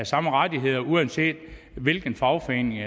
samme rettigheder uanset hvilken fagforening